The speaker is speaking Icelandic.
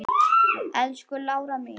Elsku Lára mín.